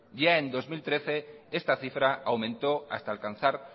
ya en dos mil trece esta cifra aumentó hasta alcanzar